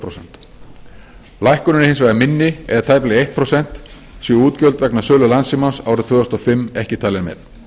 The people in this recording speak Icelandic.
prósent lækkunin er hins vegar minni eða tæplega eitt prósent séu útgjöld vegna sölu landssímans árið tvö þúsund og fimm ekki talin með